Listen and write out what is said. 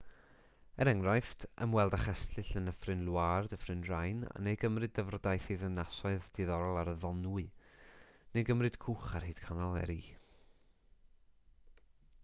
er enghraifft ymweld â chestyll yn nyffryn loire dyffryn rhein neu gymryd dyfrdaith i ddinasoedd diddorol ar y ddonwy neu gymryd cwch ar hyd canal erie